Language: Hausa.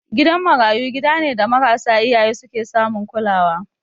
Gidan marayu gida ne da marasa iyaye su ke samun kulawa.